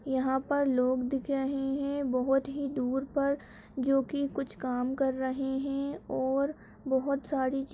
यहाँ पर लोग दिख रहे हैं बहोत ही दूर पर जोकि कुछ काम कर रहे हैं और बहोत सारी चीज --